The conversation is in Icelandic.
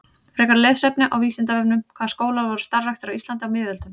Frekara lesefni á Vísindavefnum: Hvaða skólar voru starfræktir á Íslandi á miðöldum?